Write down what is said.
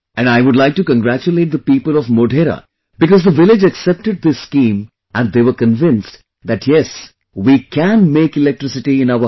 And I would like to congratulate the people of Modhera because the village accepted this scheme and they were convinced that yes we can make electricity in our house